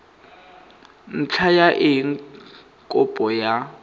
ntlha ya eng kopo ya